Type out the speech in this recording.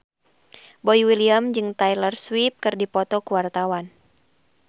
Boy William jeung Taylor Swift keur dipoto ku wartawan